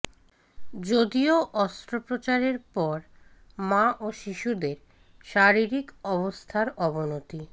যদিও অস্ত্রোপচারের পর মা ও শিশুদের শারীরিক অবস্থার অবনতি